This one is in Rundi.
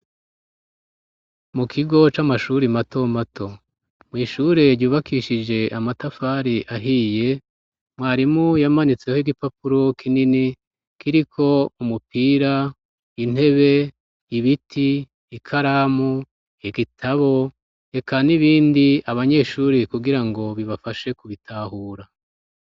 Mu kigo c'amashuri matomato mw'ishure ryubakishije amatafari ahiye mwarimu yamanitseho igipapuro kinini kiriko umupira, intebe, ibiti ikaramu, igitabo reka n'ibindi abanyeshuri kugira ngo bibafashe kubitahura.